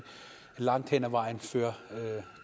langt hen ad vejen fører